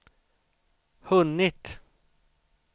hunnit